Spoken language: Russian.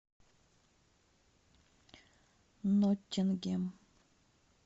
ноттингем